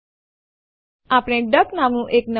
હેડ ખસેડતા પહેલાં ચાલો સ્ક્રીન સાફ કરીએ